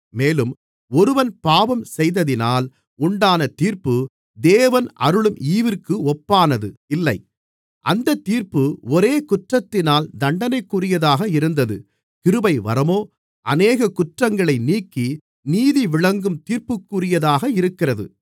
மேலும் ஒருவன் பாவம் செய்ததினால் உண்டான தீர்ப்பு தேவன் அருளும் ஈவிற்கு ஒப்பானது இல்லை அந்தத் தீர்ப்பு ஒரே குற்றத்தினால் தண்டனைக்குரியதாக இருந்தது கிருபைவரமோ அநேக குற்றங்களை நீக்கி நீதிவிளங்கும் தீர்ப்புக்குரியதாக இருக்கிறது